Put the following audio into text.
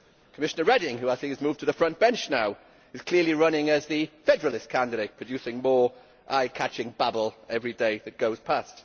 Commissioner Reding, who I think has moved to the front bench now, is clearly running as the federalist candidate, producing more eye catching babble every day that goes past.